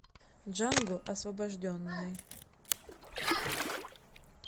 джанго освобожденный